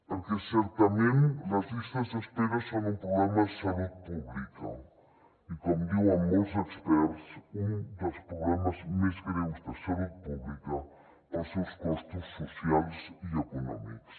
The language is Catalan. perquè certament les llistes d’espera són un problema de salut pública i com diuen molts experts un dels problemes més greus de salut pública pels seus costos socials i econòmics